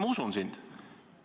Ma usun sind.